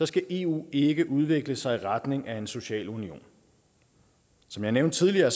skal eu ikke udvikle sig i retning af en social union som jeg nævnte tidligere